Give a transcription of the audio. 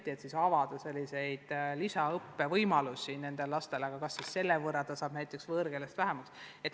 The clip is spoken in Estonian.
Tuleb mõelda, kas avada nendele lastele lisaõppe võimalusi, ja kui avada, siis kas selle võrra jääb näiteks võõrkeeletunde vähemaks.